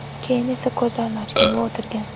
Keyin esa ko‘zlarini ochgan va o‘tirgan.